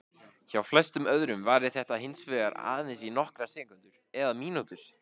Hjá flestum öðrum varir þetta hins vegar aðeins í nokkrar sekúndur eða mínútur.